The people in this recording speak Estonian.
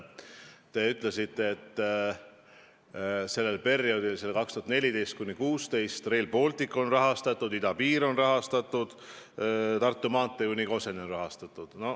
Te ütlesite, et perioodil 2014–2016 oli Rail Baltic rahastatud, idapiir oli rahastatud, Tartu maantee kuni Koseni oli rahastatud.